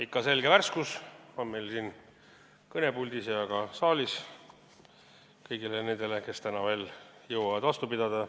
Ikka selge värskus on meil siin kõnepuldis ja ka saalis kõigi nende hulgas, kes täna veel jõuavad vastu pidada.